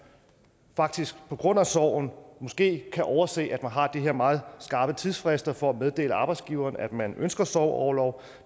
faktisk på grund af sorgen måske kan overse at man har de her meget skarpe tidsfrister for at meddele arbejdsgiveren at man ønsker sorgorlov